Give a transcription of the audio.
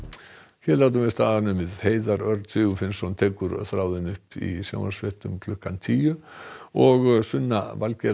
hér látum við staðar numið Heiðar Örn Sigurfinnsson tekur þráðinn í sjónvarpsfréttum klukkan tíu og Sunna